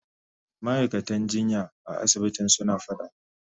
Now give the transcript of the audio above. Ma'aikatan jinya a asibitin suna fada.